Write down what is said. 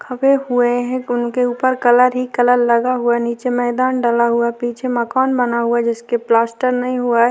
खबे हुए है उनके ऊपर कलर ही कलर लगा हुआ नीचे मैदान डला हुआ पीछे मकान बना हुआ जिसके प्लास्टर नहीं हुआ हैं।